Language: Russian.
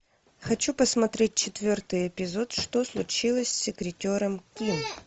хочу посмотреть четвертый эпизод что случилось с секретером ким